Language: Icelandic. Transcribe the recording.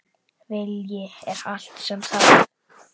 Vilji er allt sem þarf!